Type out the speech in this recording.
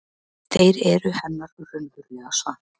Þeir eru hennar raunverulega svar.